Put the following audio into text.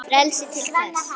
Frelsi til hvers?